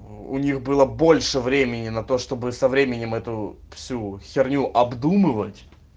у них было больше времени на то чтобы со временем эту всю херню обдумывать